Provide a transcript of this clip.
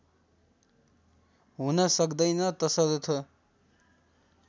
हुन सक्दैन तसर्थ